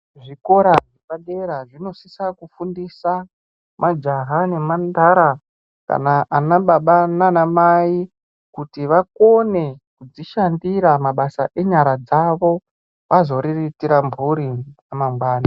Ezvikora zvepadera zvinosise kufundisa majaha nemhandara, anababa naanamai kuti vakone kuita mabasa enyar dzavo vazoriritira mhuri dzavo mune ramangwani.